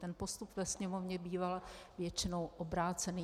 Ten postup ve Sněmovně býval většinou obrácený.